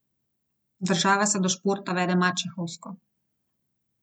Država se do športa vede mačehovsko.